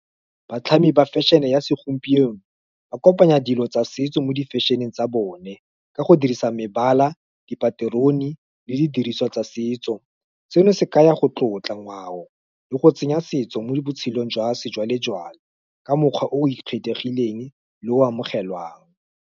Batlhami ba fashion-e ya segompieno, ba kopanya dilo tsa setso mo di fashion-eng tsa bone, ka go dirisa mebala, dipaterone, le di diriswa tsa setso. Seno se ka ya go tlotla ngwao, le go tsenya setso mo botshelong jwa sejwalejwale, ka mokgwa o ikgethileng le o amogelwang.